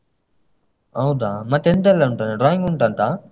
ಹೌದಾ ಮತ್ತೆಯೆಂತೆಲ್ಲ ಉಂಟಂತೆ drawing ಉಂಟಂತ?